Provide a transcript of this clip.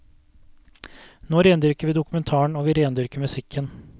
Nå rendyrker vi dokumentaren, og vi rendyrker musikken.